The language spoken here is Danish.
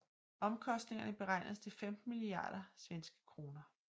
Omkostningerne beregnedes til 15 milliarder SEK